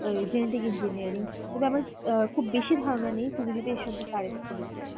genetic engineering তো ও আহ বেশি ধারণা নেই তুমি যদি এর সম্পর্কে আর কিছু বলতে পারো